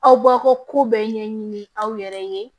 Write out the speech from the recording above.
Aw baw ko bɛɛ ɲɛɲini aw yɛrɛ ye